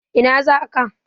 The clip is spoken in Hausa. Ina za ka?